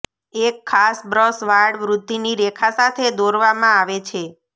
એક ખાસ બ્રશ વાળ વૃદ્ધિની રેખા સાથે દોરવામાં આવે છે